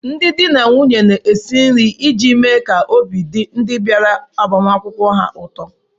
Ndị di na nwunye na-esi nri iji mee ka obi dị ndị bịara agbamakwụkwọ ha ụtọ